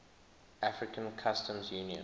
african customs union